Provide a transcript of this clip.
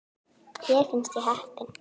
Mér finnst ég heppin.